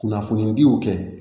Kunnafoniya diw kɛ